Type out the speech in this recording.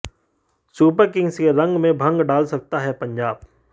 super kings के रंग में भंग डाल सकता है पंजाब